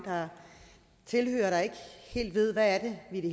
tilhørere der ikke helt ved hvad det i det